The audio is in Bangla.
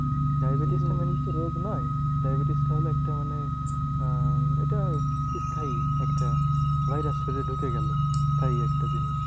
Diabetes টা main হচ্ছে রোগ নয়। diabetes টা হলো একটা মানে আহ এটা স্থায়ী একটা virus শরীরে ঢুকে গেলো স্থায়ী একটা জিনিস।